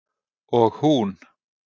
Og hún